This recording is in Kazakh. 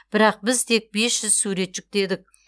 бірақ біз тек бес жүз сурет жүктедік